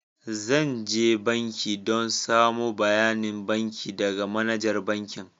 Zan je banki dan samo bayanin banki daga manajar bankin.